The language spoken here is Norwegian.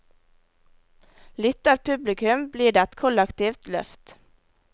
Lytter publikum, blir det et kollektivt løft.